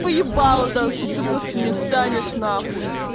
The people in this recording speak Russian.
по ебалу дам что ты просто не станешь нахуй